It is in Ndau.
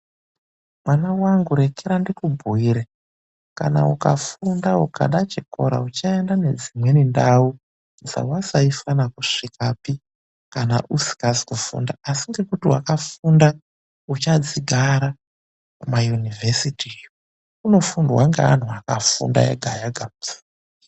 Mwana wangu rekera ndikubhuyire. Kana ukafunda ukada chikora, uchaenda nedzimweni ndau dzewasaifana kusvikapi kana usikazi kufunda. Asi ngekuti wakafunda, uchadzigara kuma Yunivhesiti iyo. Kunofundwa ngeanhu akafunda ega ega.